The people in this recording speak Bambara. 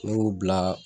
Ne y'u bila